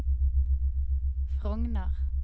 Frogner